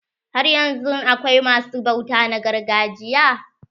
Haryanzun akwai ma su bauta na gargajiya?